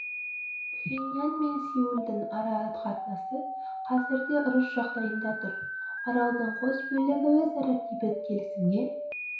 пхеньян мен сеулдің ара қатынасы қазір де ұрыс жағдайында тұр аралдың қос бөлігі өзара бейбіт келісімге